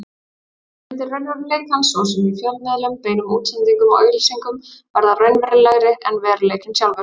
Eftirmyndir raunveruleikans, svo sem í fjölmiðlum, beinum útsendingum og auglýsingum, verða raunverulegri en veruleikinn sjálfur.